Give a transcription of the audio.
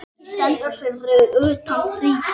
Eiki stendur fyrir utan Ríkið.